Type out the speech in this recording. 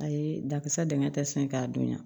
Ayi dakisɛ dingɛ tɛ sen k'a dunya